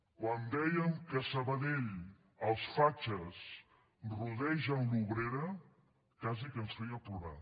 quan dèiem que a sabadell els fatxes rodegen l’obrera quasi que ens feia plorar